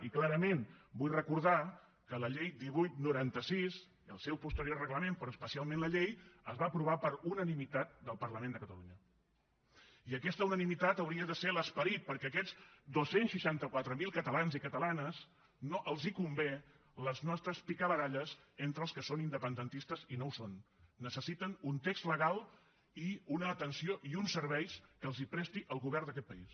i clarament vull recordar que la llei divuit noranta sis i el seu posteriorment reglament però especialment la llei es va aprovar per unanimitat del parlament de catalunya i aquesta unanimitat hauria de ser l’esperit perquè a aquests dos cents i seixanta quatre mil catalans i catalanes no els convenen les nostres picabaralles entre els que són independentistes i els que no ho són necessiten un text legal i una atenció i uns serveis que els presti el govern d’aquest país